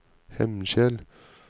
Hemnskjel